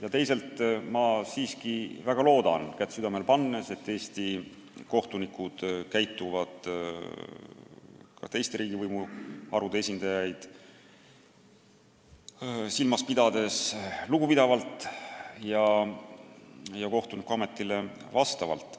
Aga kätt südamele pannes ma siiski väga loodan, et Eesti kohtunikud käituvad ka teiste riigivõimu harude esindajaid silmas pidades lugupidavalt ja kohtunikuametile vastavalt.